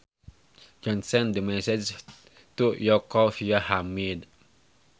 John sent the message to Yoko via Hamid